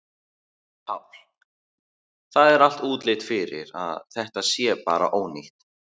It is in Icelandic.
Páll: Það er allt útlit fyrir að þetta sé bara ónýtt?